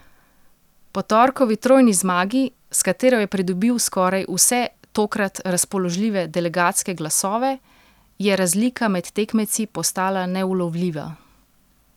Po torkovi trojni zmagi, s katero je pridobil skoraj vse tokrat razpoložljive delegatske glasove, je razlika med tekmeci postala neulovljiva.